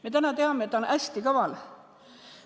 Me teame täna seda, et ta on hästi kaval.